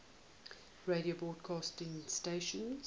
radio broadcast stations